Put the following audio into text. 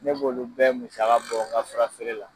Ne b'olu bɛɛ musaka bɔ n ka furafeere la.